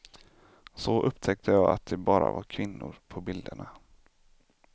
Så upptäckte jag att det bara var kvinnor på bilderna.